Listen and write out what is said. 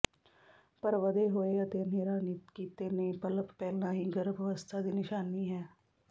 ਪਰ ਵਧੇ ਹੋਏ ਅਤੇ ਹਨੇਰਾ ਕੀਤੇ ਨਿਪਲਪ ਪਹਿਲਾਂ ਹੀ ਗਰਭ ਅਵਸਥਾ ਦੀ ਨਿਸ਼ਾਨੀ ਹੈ